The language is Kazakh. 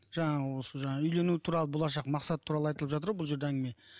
жаңағы осы жаңағы үйлену туралы болашақ мақсат туралы айтылып жатыр ғой бұл жерде әңгіме